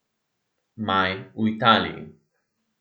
Maj v Italiji.